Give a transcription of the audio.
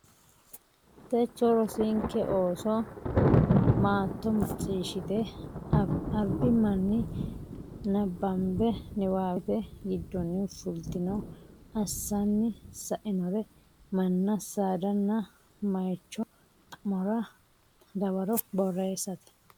techo rosinke Ooso maatto macciishshite albi manni nabbambe niwaawete giddonni fultino assanni sainore manna saadanna moycho xa mora dawaro borreessate.